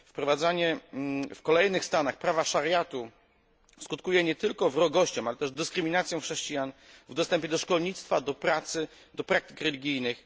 Wprowadzanie w kolejnych stanach prawa szariatu skutkuje nie tylko wrogością, ale też dyskryminacją chrześcijan w dostępie do szkolnictwa, do pracy, do praktyk religijnych.